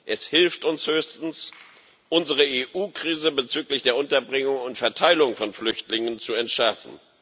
Es hilft uns höchstens, unsere EU Krise bezüglich der Unterbringung und Verteilung von Flüchtlingen zu entschärfen.